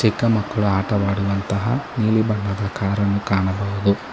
ಚಿಕ್ಕ ಮಕ್ಕಳು ಆಟವಾಡುವಂತಹ ನೀಲಿ ಬಣ್ಣದ ಕಾರನ್ನು ಕಾಣಬಹುದು.